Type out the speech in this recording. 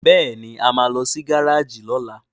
Béèni a má ló sì Gáréèjì lola.